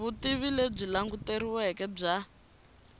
vutivi lebyi languteriweke bya